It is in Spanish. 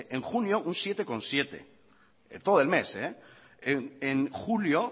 en junio un siete coma siete en todo el mes en julio